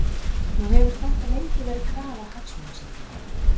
Nú hefur þetta lengi verið krafa Hagsmunasamtakanna?